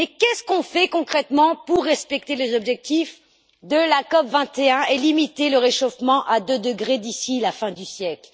Mais que faisons nous concrètement pour respecter les objectifs de la COP 21 et limiter le réchauffement à deux degrés d'ici la fin du siècle?